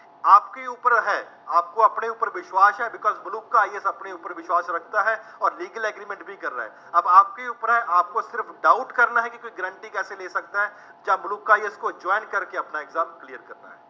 ਆਪਕੇ ਉੱਪਰ ਹੈ, ਆਪਕੋ ਅਪਨੇ ਉੱਪਰ ਵਿਸ਼ਵਾਸ਼ ਹੈ ਤੋ ਕੱਲ੍ਹ ਮਲੂਕਾ IAS ਅਪਨੇ ਉੱਪਰ ਵਿਸ਼ਵਾਸ਼ ਰੱਖਤਾ ਹੈ, ਅੋਰ legal agreement ਵੀ ਕਰ ਰਹਾ ਹੈ, ਅਬ ਆਪ ਕੇ ਉੱਪਰ ਹੈ, ਆਪਕੋ ਸਿਰਫ doubt ਕਰਨਾ ਹੈ ਕਿ ਗਾਰੰਟੀ ਕੈਸੇ ਲੇ ਸਕਤਾ ਹੈ, ਜਾਂ ਮਲੂਕਾ IAS ਕੋ join ਕਰਕੇ ਅਪਨਾ exam clear ਕਰਨਾ ਹੈ।